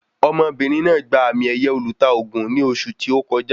Ọmọbìnrin náà gba àmì ẹ̀yẹ olùta ògùn ní oṣù tí o kọjá